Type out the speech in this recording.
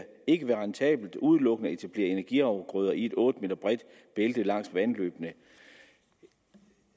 ikke være rentabelt udelukkende at etablere energiafgrøder i et otte m bredt bælte langs vandløbene